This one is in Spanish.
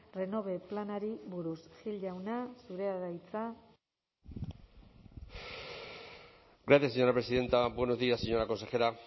renove planari buruz gil jauna zurea da hitza gracias señora presidenta buenos días señora consejera